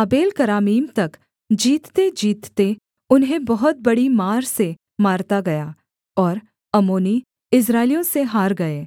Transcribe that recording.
आबेलकरामीम तक जीततेजीतते उन्हें बहुत बड़ी मार से मारता गया और अम्मोनी इस्राएलियों से हार गए